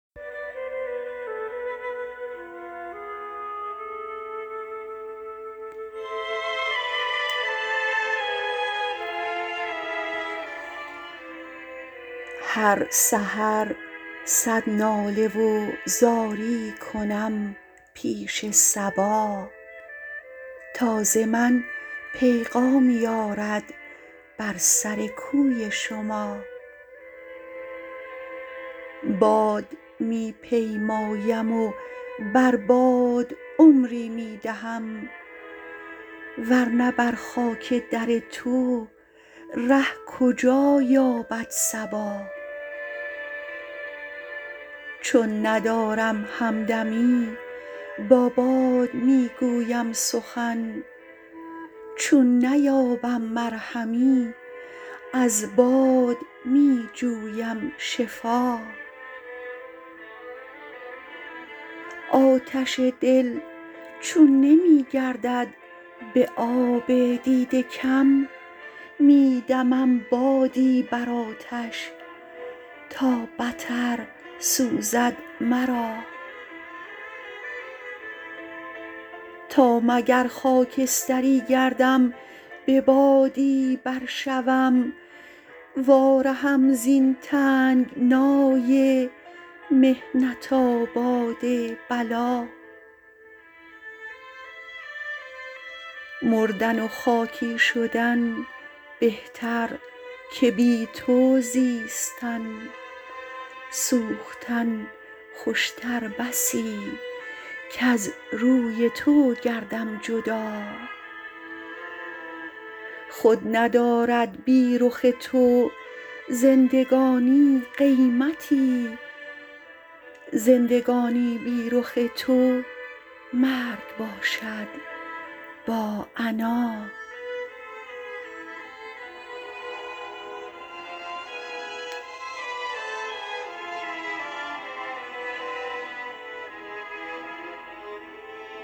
هر سحر صد ناله و زاری کنم پیش صبا تا ز من پیغامی آرد بر سر کوی شما باد می پیمایم و بر باد عمری می دهم ورنه بر خاک در تو ره کجا یابد صبا چون ندارم همدمی با باد می گویم سخن چون نیابم مرهمی از باد می جویم شفا آتش دل چون نمی گردد به آب دیده کم می دمم بادی بر آتش تا بتر سوزد مرا تا مگر خاکستری گردم به بادی بر شوم وا رهم زین تنگنای محنت آباد بلا مردن و خاکی شدن بهتر که بی تو زیستن سوختن خوشتر بسی کز روی تو گردم جدا خود ندارد بی رخ تو زندگانی قیمتی زندگانی بی رخ تو مرگ باشد با عنا